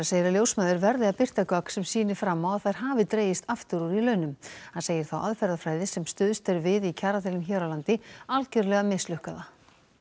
segir að ljósmæður verði að birta gögn sem sýni fram á að þær hafi dregist aftur úr í launum hann segir þá aðferðafræði sem stuðst er við í kjaradeilum hér á landi algjörlega mislukkaða